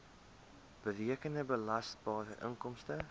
berekende belasbare inkomste